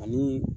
Ani